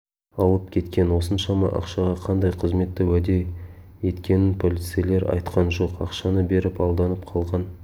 алып кеткен осыншама ақшаға қандай қызметті уәде еткенін полицейлер айтқан жоқ ақшаны беріп алданып қалған